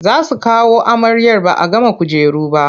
Za su kawo amaryar ba a gama kujeru ba.